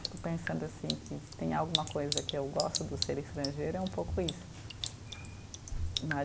Fico pensando assim que se tem alguma coisa que eu gosto do ser estrangeiro é um pouco isso né.